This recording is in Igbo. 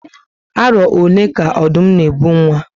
Aro ole ka Ọdụm na ebu nwa?